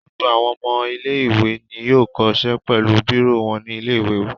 Gbogbo àwọn ọmọ ilé-ìwé ni yóò kó ṣe pẹ̀lú bírò wọn ní ilé-ìwé.